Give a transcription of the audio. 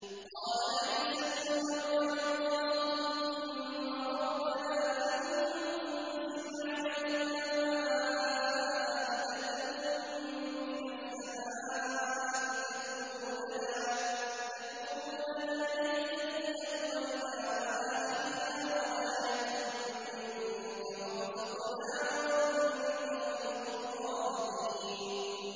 قَالَ عِيسَى ابْنُ مَرْيَمَ اللَّهُمَّ رَبَّنَا أَنزِلْ عَلَيْنَا مَائِدَةً مِّنَ السَّمَاءِ تَكُونُ لَنَا عِيدًا لِّأَوَّلِنَا وَآخِرِنَا وَآيَةً مِّنكَ ۖ وَارْزُقْنَا وَأَنتَ خَيْرُ الرَّازِقِينَ